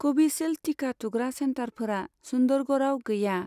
Covishield टिका थुग्रा सेन्टारफोरा सुन्दरगड़आव गैया।